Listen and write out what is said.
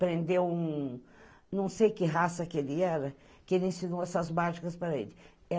Prendeu um... Não sei que raça que ele era, que ele ensinou essas mágicas para ele.